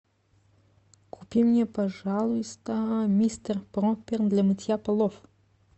купи мне пожалуйста мистер пропер для мытья полов